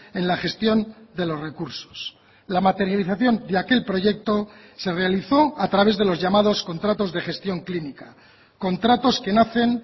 en la gestión de los recursos la materialización de aquel proyecto se realizó a través de los llamados contratos de gestión clínica contratos que nacen